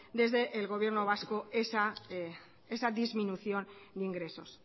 desde el gobierno vasco esa disminución de ingresos